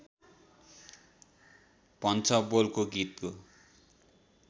भन्छ बोलको गीतको